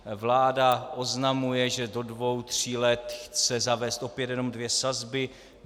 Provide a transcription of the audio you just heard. Vláda oznamuje, že do dvou tří let chce zavést opět jenom dvě sazby.